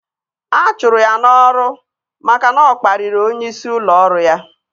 A chụrụ ya n'ọrụ maka na ọ kpariri onyeisi ụlọ ọrụ ya